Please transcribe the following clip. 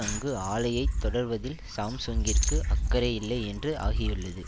அங்கு ஆலையை தொடர்வதில் சாம்சுங்கிற்கு அக்கறை இல்லை என்று ஆகியுள்ளது